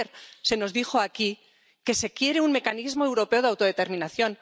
Ayer se nos dijo aquí que se quiere un mecanismo europeo de autodeterminación.